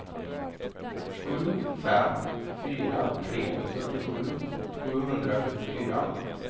sju fem fyra tre fyrtiosju sjuhundrafyrtiofyra